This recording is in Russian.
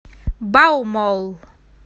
баумолл